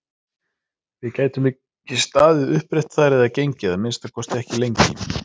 Við gætum ekki staðið upprétt þar eða gengið, að minnsta kosti ekki lengi!